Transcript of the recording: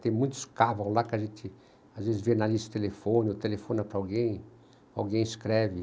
Tem muitos cavos lá que a gente às vezes vê na lista de telefone, ou telefona para alguém, alguém escreve.